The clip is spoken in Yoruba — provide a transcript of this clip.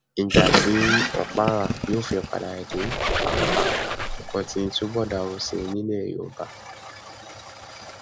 ìgbà tí òkpara yóò fi padà dé pàápàá nǹkan ti túbọ dàrú sí i nílẹ yorùbá